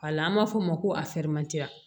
A la an b'a fɔ o ma ko